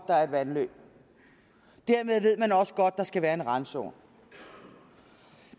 der er et vandløb dermed ved man også godt at der skal være en randzone